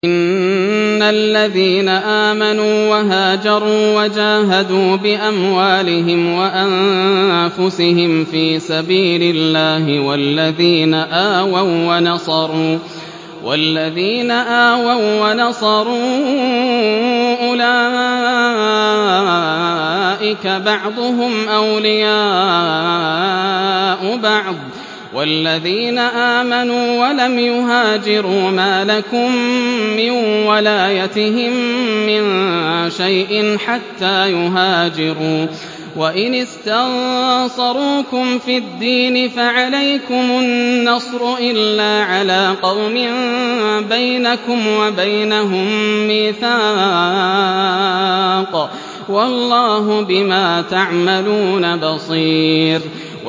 إِنَّ الَّذِينَ آمَنُوا وَهَاجَرُوا وَجَاهَدُوا بِأَمْوَالِهِمْ وَأَنفُسِهِمْ فِي سَبِيلِ اللَّهِ وَالَّذِينَ آوَوا وَّنَصَرُوا أُولَٰئِكَ بَعْضُهُمْ أَوْلِيَاءُ بَعْضٍ ۚ وَالَّذِينَ آمَنُوا وَلَمْ يُهَاجِرُوا مَا لَكُم مِّن وَلَايَتِهِم مِّن شَيْءٍ حَتَّىٰ يُهَاجِرُوا ۚ وَإِنِ اسْتَنصَرُوكُمْ فِي الدِّينِ فَعَلَيْكُمُ النَّصْرُ إِلَّا عَلَىٰ قَوْمٍ بَيْنَكُمْ وَبَيْنَهُم مِّيثَاقٌ ۗ وَاللَّهُ بِمَا تَعْمَلُونَ بَصِيرٌ